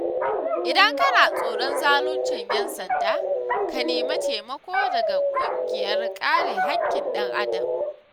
Idan kana tsoron zaluncin 'yan sanda ka nemi taimako daga ƙungiyar kare haƙƙin ɗan Adam.